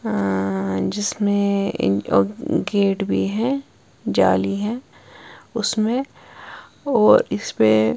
और अ जिसमें गेट भी है जाली है उसमें और इसमें --